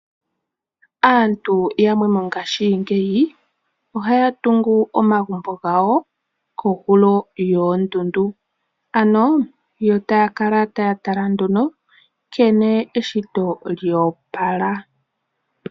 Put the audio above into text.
Aantu yamwe mongaashingeyi ohaya tungu omagumbo gawo kohulo yoondundu. Ano yo taya kala taya tala nduno nkene eshito lyoopala.